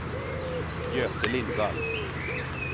Göte Lindvall